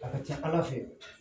A ka ca ala fɛ